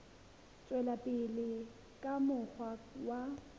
tswela pele ka mokgwa wa